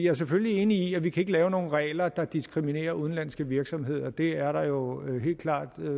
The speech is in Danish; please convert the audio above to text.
er selvfølgelig enig i at vi ikke kan lave nogen regler der diskriminerer udenlandske virksomheder det er der jo helt klart